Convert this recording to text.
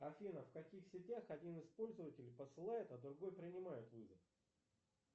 афина в каких сетях один из пользователей посылает а другой принимает вызов